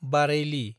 बारेइलि